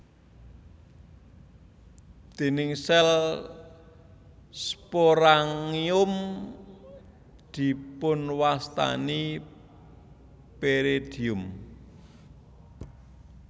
Dinding sel sporangium dipunwastani peridium